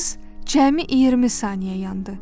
Qız cəmi 20 saniyə yandı.